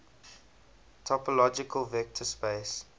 topological vector space